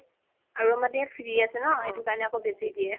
আৰু মানে free আছে ন সেইটো কাৰণে আকৌ বেচি দিয়ে